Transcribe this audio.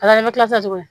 A la bɛ kila tuguni